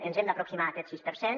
ens hem d’aproximar a aquest sis per cent